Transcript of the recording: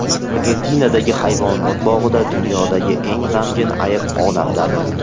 Argentinadagi hayvonot bog‘ida dunyodagi eng g‘amgin ayiq olamdan o‘tdi.